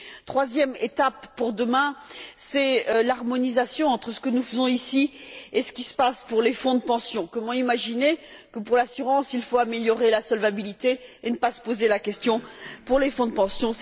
Troisième étape pour demain l'harmonisation entre ce que nous faisons ici et ce qui se passe pour les fonds de pension. Comment imaginer que, pour l'assurance, il faille améliorer la solvabilité, et ne pas se poser la question pour les fonds de pension?